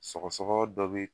Sɔgɔ sɔgɔ dɔ be